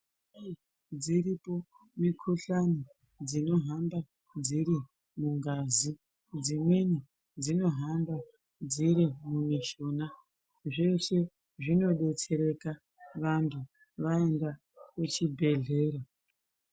Dziripo mikuhlani dzinohamba dziri mungazi dzimweni dzinohamba dziri mumishuna zveshe zvinodetsereka vantu vaenda kuchibhedhleya.